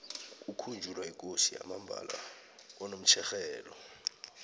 kukhunjulwa ikosi yamambala konomtjherhelo